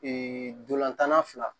ntolan tan na fila